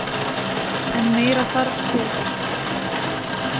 En meira þarf til